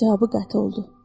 Cavabı qəti oldu.